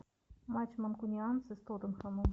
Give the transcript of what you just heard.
матч манкунианцы с тоттенхэмом